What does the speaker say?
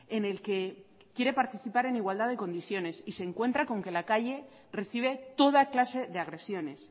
en el que quiere participar en igualdad de condiciones y se encuentra con que la calle recibe toda clase de agresiones